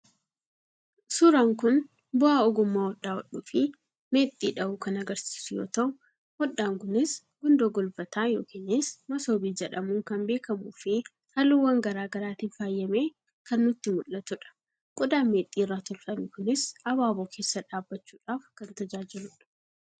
suuraan kun bu'aa ogummmaa hodhaa hodhuufi meexxii dhahuu kan agarsiisu yoo ta'u, hodhaan kunis gundoo golbataa yookiinis masoobii jedhamuun kan beekamufi halluuwwan gara garaatiin faayamee kan nutti mul'atudha. qodaan meexxii irraa tolfamee kunis abaaboo keessa dhaabbachuudhaaf kan tajaajiludha.